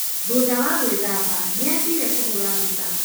Thutha wa gwĩthamba, nĩ aathire kũhũũra mbica.